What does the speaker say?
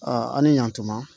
an' ni yantuma